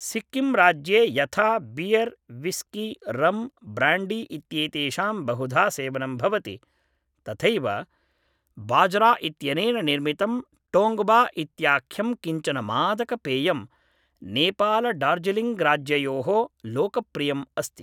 सिक्किम् राज्ये यथा beer whisky rum brandy इत्येतेषां बहुधा सेवनं भवति तथैव बाजरा इत्यनेन निर्मितं टोङ्गबा इत्याख्यं किञ्चन मादकपेयं नेपालडार्जिलिङ्ग्राज्ययोः लोकप्रियम् अस्ति